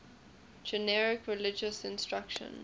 generic religious instruction